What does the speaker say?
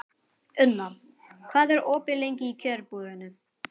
Una, hvað er opið lengi í Kjörbúðinni?